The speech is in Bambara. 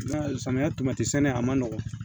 I m'a ye samiya sɛnɛ a man nɔgɔn